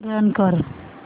run कर